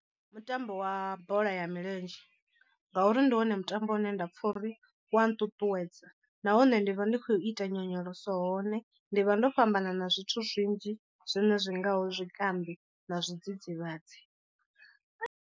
Ndi mutambo wa bola ya milenzhe ngauri ndi wone mutambo une nda pfha uri u wa nṱuṱuwedza, nahone ndi vha ndi khou ita nyonyoloso hone ndi vha ndo fhambana na zwithu zwinzhi zwine zwi ngaho zwikambi na zwidzidzivhadzi.